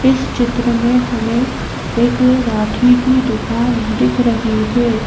इस चित्र में हमें एक राखी की दुकान दिख रही है।